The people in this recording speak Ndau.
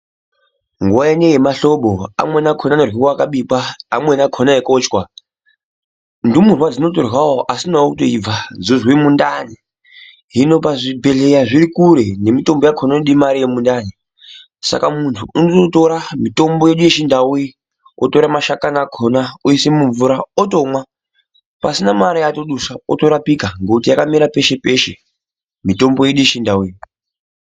Nguwa ineyi yemahlobo, amweni akhona anoryiwa akabikwa, amweni akhona eikochwa, ndumurwa dzinotoryawo asinawo kutoibva dzozwe mundani, hino pazvibhedhlera zviri kure nemitombo yakhona inode mare yemundani saka muntu unotora mitombo yedu yechindau iyi, otore mashakani akhona oise mumvura otomwa pasina mare yaatodusa otorapika ngekuti yakamera peshe-peshe mitombo yedu yechindau iyi.